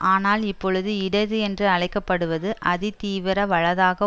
ஆனால் இப்பொழுது இடது என்று அழைக்க படுவது அதிதீவிர வலதாக